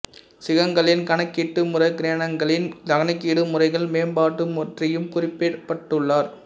கிகங்களின் கணக்கீட்டு முறை கிரகணங்களின் கணக்கீடு முறைகள் மேம்பாடு பற்றியும் குறிபிட்டுள்ளார்